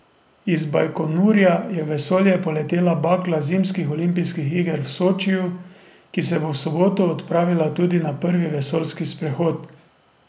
Iz Bajkonurja je v vesolje poletela bakla zimskih olimpijskih iger v Sočiju, ki se bo v soboto odpravila tudi na prvi vesoljski sprehod.